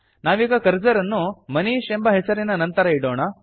ನಾವೀಗ ಕರ್ಸರ್ ಅನ್ನು ಮನೀಶ್ ಎಂಬ ಹೆಸರಿನ ನಂತರ ಇಡೋಣ